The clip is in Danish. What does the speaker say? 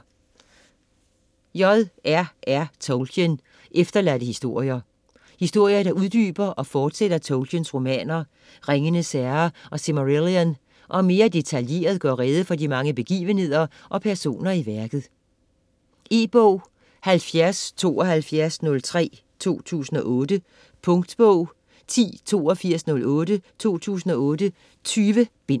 Tolkien, J. R. R.: Efterladte historier Historier der uddyber og fortsætter Tolkiens romaner, Ringenes herre og Silmarillion, og mere detaljeret gør rede for de mange begivenheder og personer i værket. E-bog 707203 2008. Punktbog 108208 2008. 20 bind.